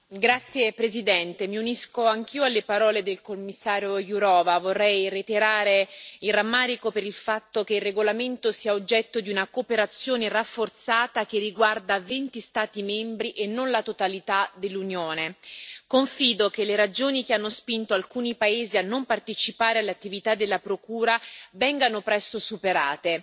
Signora Presidente, onorevoli colleghi, mi unisco anch'io alle parole del Commissario Jourová, reiterando il rammarico per il fatto che il regolamento sia oggetto di una cooperazione rafforzata che riguarda 20 Stati membri e non la totalità dell'Unione. Confido che le ragioni che hanno spinto alcuni paesi a non partecipare all'attività della Procura vengano presto superate.